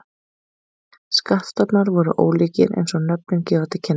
Skattstofnar voru ólíkir eins og nöfnin gefa til kynna.